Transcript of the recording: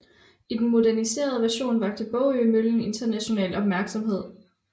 I den moderniserede version vakte Bogømøllen international opmærksomhed